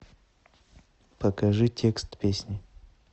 покажи текст песни